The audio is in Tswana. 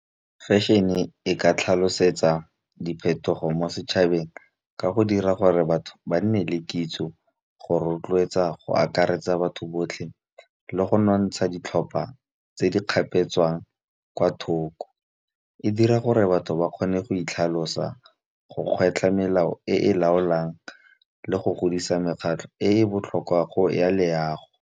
Fashion-e e ka tlhalosetsa diphetogo mo setšhabeng ka go dira gore batho ba nne le kitso, go rotloetsa, go akaretsa batho botlhe le go nontsha ditlhopha tse di kgapetswang kwa thoko. E dira gore batho ba kgone go itlhalosa, go kgwetlha melao e e laolang le go godisa mekgatlho e e botlhokwa ya leago.